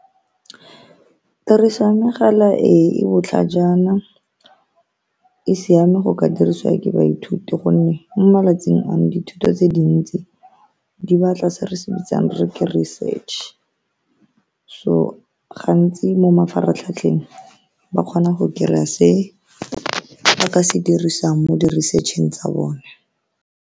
Tiriso ya megala e e botlhajana e siame, go ka dirisiwa ke baithuti ka gonne mo malatsing ano dithuto tse dintsi di batla se re se bitsang re re ke research, so gantsi mo mafaratlhatlheng ba kgona go kry-ya se ba ka se dirisiwang mo di research-eng tsa bone.